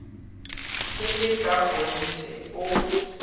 e le ka kgonthe o